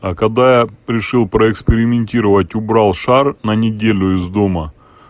а когда решил поэкспериментировать убрал шар на неделю из дома